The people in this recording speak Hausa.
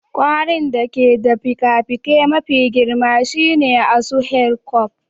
Kwarin da ke da fikafikai mafi girma shine asu Hercules.